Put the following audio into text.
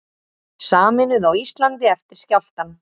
Sameinuð á Íslandi eftir skjálftann